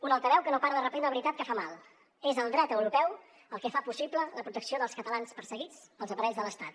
un altaveu que no para de repetir una veritat que fa mal és el dret europeu el que fa possible la protecció dels catalans perseguits pels aparells de l’estat